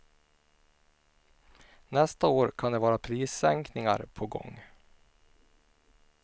Nästa år kan det vara prissänkningar på gång.